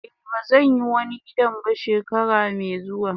Eh bazan yi wani gidan ba shekarar me zuwa.